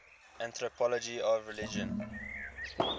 anthropology of religion